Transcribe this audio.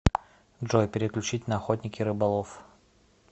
джой переключить на охотник и рыболов